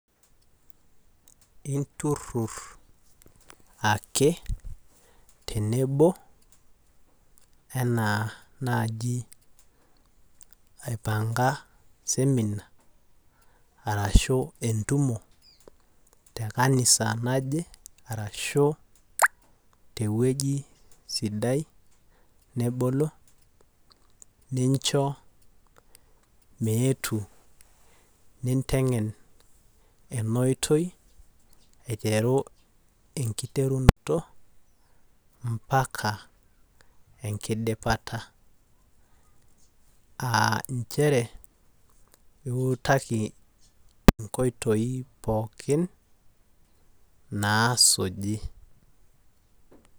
inturur ake tenebo enaa naji aipanga semina arashu entumo tekanisa naje arashu teweji sidai nebolo nicho meetu, nitegen eneoitoi aiteru enkiterunoto ampaka enkidipata aa nchere iutaki inkoitoi pooki nasuji.